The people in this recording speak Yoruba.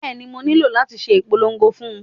Bẹ́ẹ̀ni, mo nílò láti ṣe ìpolongo fún un